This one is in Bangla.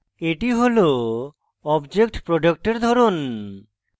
এটি হল object product এর ধরন